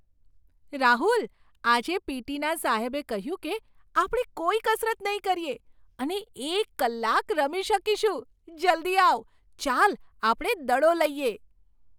રાહુલ! આજે પી.ટી.ના સાહેબે કહ્યું કે આપણે કોઈ કસરત નહીં કરીએ અને એક કલાક રમી શકીશું! જલ્દી આવ, ચાલ આપણે દડો લઈએ!